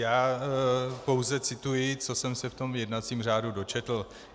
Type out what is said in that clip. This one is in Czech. Já pouze cituji, co jsem se v tom jednacím řádu dočetl.